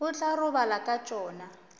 o tla robala ka tšona